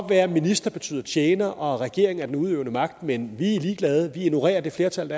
være at minister betyder tjener og regeringen er den udøvende magt men vi er ligeglade og vi ignorerer det flertal